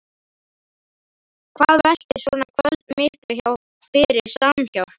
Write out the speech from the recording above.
Hvað veltir svona kvöld miklu fyrir Samhjálp?